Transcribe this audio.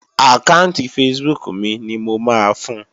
Àkáànti Facebook mi ni mo máa fun